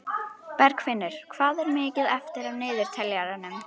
Bergfinnur, hvað er mikið eftir af niðurteljaranum?